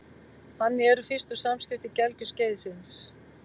Þannig eru fyrstu samskipti gelgjuskeiðsins.